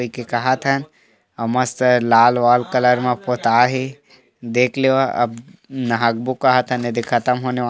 कइके कहात हन मस्त लाल वाल कलर म पोताये हे देख लेवा अब नाहाकबो कहात हन एदे खतम होने वाल --